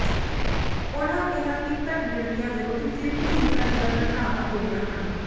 ਉਨ੍ਹਾ ਕਿਹਾ ਕਿ ਘੱਟ ਗਿਣਤੀਆਂ ਵਿਰੁੱਧ ਫਿਰਕੂ ਹਿੰਸਾ ਦੀਆਂ ਘਟਨਾਵਾਂ ਹੋਈਆਂ ਹਨ